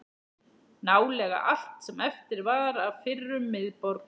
Nálega allt sem eftir var af fyrrum miðborg